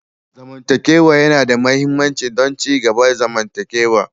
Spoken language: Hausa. Zamantakewa yana da mahimmanci don ci gaban zamantakewa.